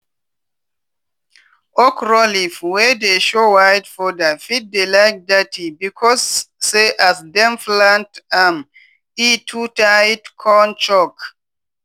okro leaf wey dey show white powder fit dey like dirty becos say as dem plant am e too tight con choke.